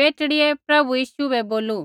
बेटड़ियै प्रभु यीशु बै बोलू